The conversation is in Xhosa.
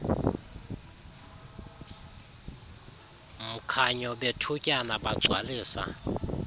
mkhanyo bethutyana bagcwalisa